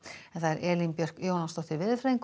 Elín Björk Jónasdóttir veðurfræðingur